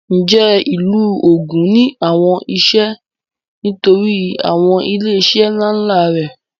Ǹjẹ́ ìlú Ògùn ní àwọn iṣẹ́ nítorí àwọn ilé iṣẹ́ ńlá ńlá rẹ̀?